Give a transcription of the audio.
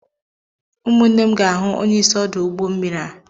Ụmụ nne m ga-ahụ onyeisi ọdụ ụgbọ mmiri a.